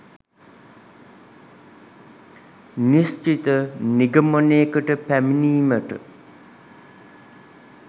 නිශ්චිත නිගමනයකට පැමිණීමට